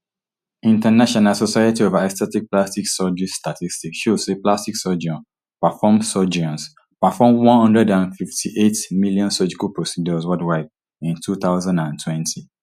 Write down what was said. international society of aesthetic plastic surgery statistics show say plastic surgeons perform surgeons perform one hundred and fifty-eight million surgical procedures worldwide in two thousand and twenty-three fifty-five increase from two thousand and twenty-two